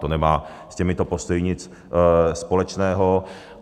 To nemá s těmito postoji nic společného.